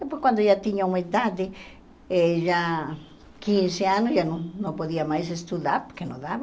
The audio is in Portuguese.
Depois, quando já tinha uma idade, eh já quinze anos, já não não podia mais estudar, porque não dava.